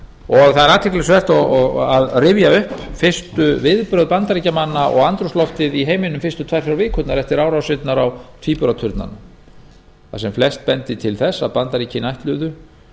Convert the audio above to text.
og það er athyglisvert að rifja upp fyrstu viðbrögð bandaríkjamanna og andrúmsloftið í heiminum fyrstu tvær þrjár vikurnar eftir árásirnar á tvíburaturnana þar sem flest benti til þess að bandaríkin ætluðu